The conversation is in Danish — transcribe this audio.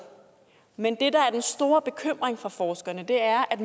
men det der er den store bekymring for forskerne er at